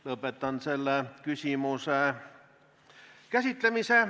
Lõpetan selle küsimuse käsitlemise.